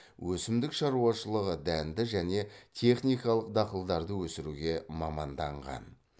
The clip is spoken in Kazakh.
өсімдік шаруашылығы дәнді және техникалық дақылдарды өсіруге маманданған